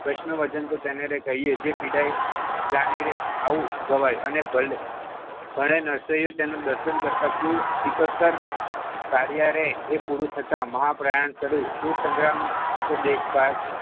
વજન તો તેને કહીએ જે પીડાઈ જાની રે આવું ગવાય અને ભલે નર્સરીઓ તેનું દર્શન કરતાં કુલ એકતર તારી હારે એ પૂરું થતાં મહાપ્રયાણ શરૂ સુર સંગમ ,